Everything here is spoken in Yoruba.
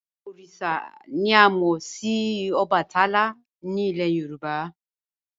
Oríṣà ni à mo sì Òbàtálá ni ilẹ̀ Yorùbá."